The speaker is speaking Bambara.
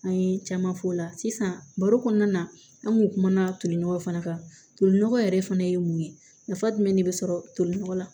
An ye caman f'o la sisan baro kɔnɔna na an kun kumana toli nɔgɔ fana kan tolinɔgɔ yɛrɛ fana ye mun ye nafa jumɛn de bɛ sɔrɔ tolinɔgɔ la